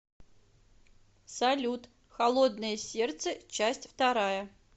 салют холодное сердце часть вторая